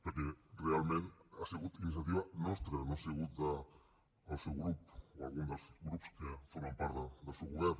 perquè realment ha sigut iniciativa nostra no ha sigut del seu grup o d’algun dels grups que formen part del seu govern